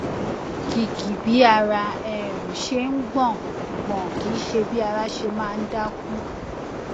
kìkì bí ara um ṣe ń gbọn gbọn kìí ṣe bí ara ṣe máa ń dákú